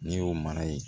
N'i y'o mara yen